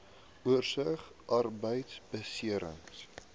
oorsig arbeidbeserings